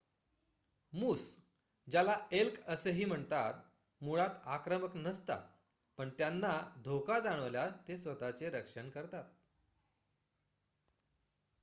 मूस ज्याला एल्क असेही म्हणतात मुळात आक्रमक नसतात पण त्यांना धोका जाणवल्यास ते स्वत:चे रक्षण करतात